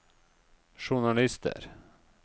journalister